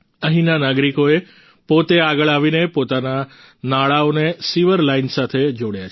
અહીંના નાગરિકોએ પોતે આગળ આવીને પોતાના નાળાઓને સીવર લાઈન સાથે જોડ્યા છે